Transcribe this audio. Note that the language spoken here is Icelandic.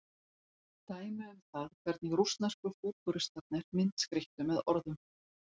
Dæmi um það hvernig rússnesku fútúristarnir myndskreyttu með orðum.